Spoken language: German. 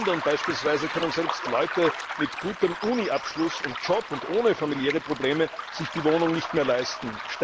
In London beispielsweise können selbst Leute mit gutem Uniabschluss und Job und ohne familiäre Probleme sich die Wohnung nicht mehr leisten.